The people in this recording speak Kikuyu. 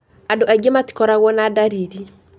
Andũ aingĩ matikorago na ndariri